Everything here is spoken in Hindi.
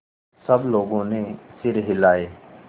सब लोगों ने सिर हिलाए